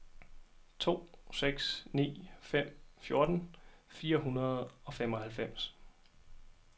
to seks ni fem fjorten fire hundrede og femoghalvfems